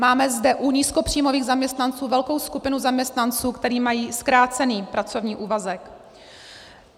Máme zde u nízkopříjmových zaměstnanců velkou skupinu zaměstnanců, kteří mají zkrácený pracovní úvazek.